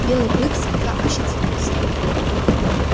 белый клык слегка ощетинился